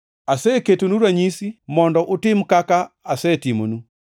Aseketonu ranyisi mondo utim kaka asetimonu.